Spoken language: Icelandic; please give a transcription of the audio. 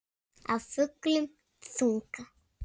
Af fullum þunga.